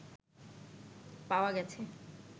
পাওয়া গেছে